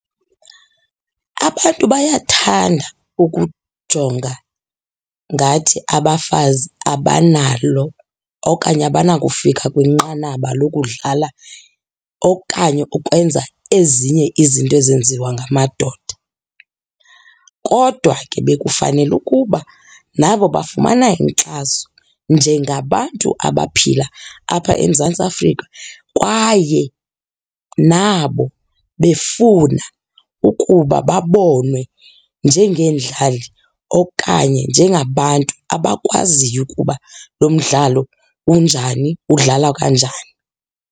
Abantu bayathanda ukujonga ngathi abafazi abanalo okanye abanakufika kwinqanaba lokudlala okanye ukwenza ezinye izinto ezenziwa ngamadoda. Kodwa ke bekufanele ukuba nabo bafumana inkxaso njengabantu abaphila apha eMzantsi Afrika, kwaye nabo befuna ukuba babonwe njengeendlali okanye njengabantu abakwaziyo ukuba lo mdlalo unjani, udlalwa kanjani.